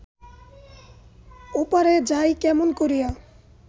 ওপারে যাই কেমন করিয়া